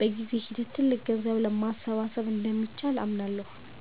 በጊዜ ሂደት ትልቅ ገንዘብ ማሰባሰብ እንደሚቻል አምናለሁ።